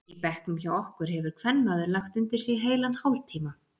Í bekknum hjá okkur hefur kvenmaður lagt undir sig heilan hálftíma.